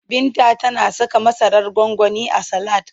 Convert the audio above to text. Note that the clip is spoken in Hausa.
Binta tana saka masarar gwangwani a salad.